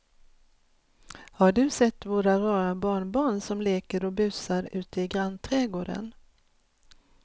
Har du sett våra rara barnbarn som leker och busar ute i grannträdgården!